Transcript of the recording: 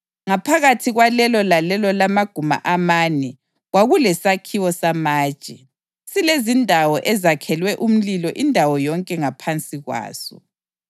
Ngaphakathi kwalelo lalelo lamaguma amane kwakulesakhiwo samatshe, silezindawo ezakhelwe umlilo indawo yonke ngaphansi kwaso.